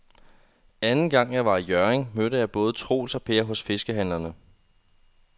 Anden gang jeg var i Hjørring, mødte jeg både Troels og Per hos fiskehandlerne.